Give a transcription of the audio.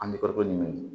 An bɛ farikolo ɲɛɲini